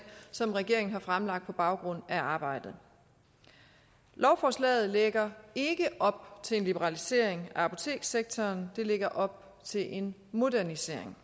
som regeringen har fremsat på baggrund af arbejdet lovforslaget lægger ikke op til en liberalisering af apotekssektoren det lægger op til en modernisering